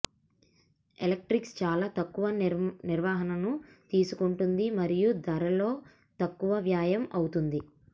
electrics చాలా తక్కువ నిర్వహణను తీసుకుంటుంది మరియు ధరలో తక్కువ వ్యయం అవుతుంది